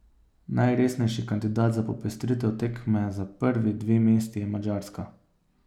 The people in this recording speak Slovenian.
Najresnejši kandidat za popestritev tekme za prvi dve mesti je Madžarska.